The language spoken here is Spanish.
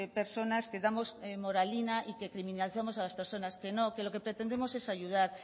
personas que damos moralina y que criminalizamos a las personas que no que lo que pretendemos es ayudar